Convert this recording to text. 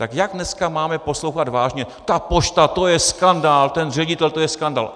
Tak jak dneska máme poslouchat vážně "a pošta, to je skandál, ten ředitel, to je skandál"?